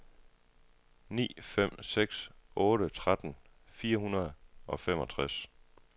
ni fem seks otte tretten fire hundrede og femogtres